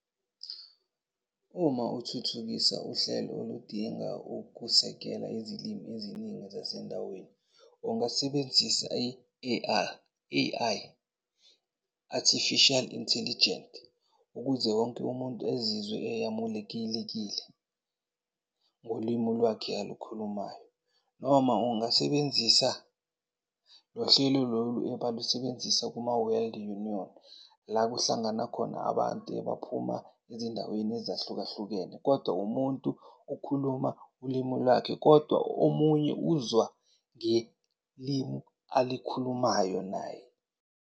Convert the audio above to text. Uma uthuthukisa uhlelo oludinga ukusekela izilimi eziningi zasendaweni, ungasebenzisa i-A_I A_I, artificial intelligent ukuze wonke umuntu ezizwe eyamulekilekile ngolwimi lwakhe alukhulumayo. Noma ungasebenzisa lo hlelo lolu ebalusebenzisa kuma-World Union la kuhlangana khona abantu ebaphuma ezindaweni ezahlukahlukene kodwa umuntu ukhuluma ulimu lakhe, kodwa omunye uzwa ngelimi alikhulumayo naye.